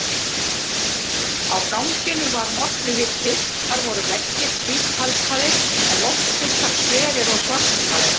Á ganginum var molluhiti, þar voru veggir hvítkalkaðir en loftbitar sverir og svartmálaðir.